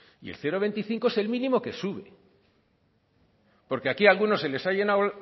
y el cero coma veinticinco es el mínimo que sube porque aquí algunos se les ha llenado